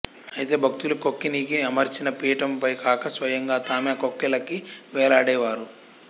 అయితే భక్తులు కొక్కేనికి అమర్చిన పీఠంపై కాక స్వయంగా తామే ఆ కొక్కేలకి వేళ్ళాడేవారు